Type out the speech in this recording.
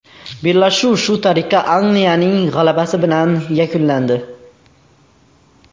Bellashuv shu tariqa Angliyaning g‘alabasi bilan yakunlandi.